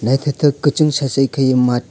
naithotok kwchung sasei kheiui math.